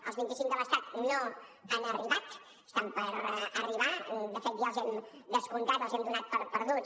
els vint cinc de l’estat no han arribat estan per arribar de fet ja els hem descomptat els hem donat per perduts